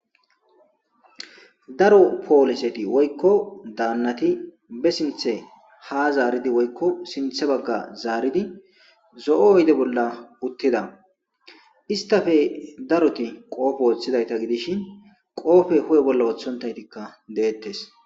daro pooliseti woykko daannati be sinthe ha zaaridi woykko sinthe bagga zaaridi zo7o oyde bolla uttida istafe daroti qoofe wooththidayta gidishin qoofe hu7e bolla woothontaytikka deettes